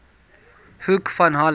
hoek van holland